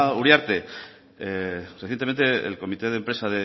uriarte recientemente el comité de empresa